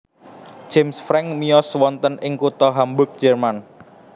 James Franck miyos wonten ing kutha Hamburg Jerman